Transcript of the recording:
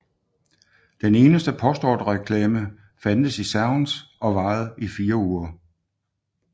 Den eneste postordrereklame fandtes i Sounds og varede i 4 uger